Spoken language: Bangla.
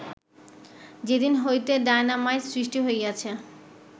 যেদিন হইতে ডাইনামাইট সৃষ্টি হইয়াছে